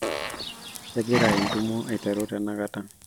kegira entumo aiteru tenakata